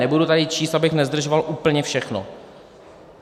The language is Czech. Nebudu tady číst, abych nezdržoval, úplně všechno.